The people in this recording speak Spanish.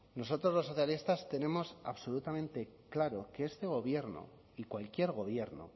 nosotros los socialistas tenemos absolutamente claro que este gobierno y cualquier gobierno